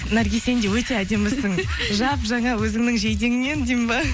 наргиз сен де өте әдемісің жап жаңа өзіңнің жейдеңнен деймін бе